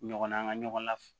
Ɲɔgɔn na an ka ɲɔgɔn laf